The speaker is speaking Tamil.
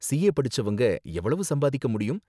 சிஏ படிச்சவங்க எவ்வளவு சம்பாதிக்க முடியும்?